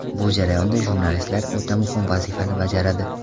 Bu jarayonda jurnalistlar o‘ta muhim vazifani bajaradi.